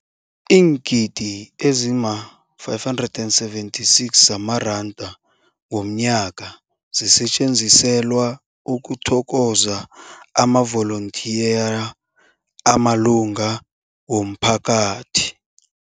Iingidi ezima-576 zamaranda ngomnyaka zisetjenziselwa ukuthokoza amavolontiya amalunga womphakathi.